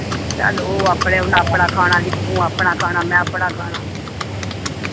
ਚੱਲ ਉਹ ਆਪਣੇ ਉਨ੍ਹਾਂ ਆਪਣਾ ਖਾਣਾ ਜੀ ਤੂੰ ਆਪਣਾ ਖਾਣਾ ਮੈਂ ਆਪਣਾ ਖਾਣਾ